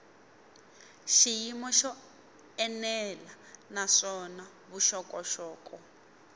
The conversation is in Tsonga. xiyimo xo enela naswona vuxokoxoko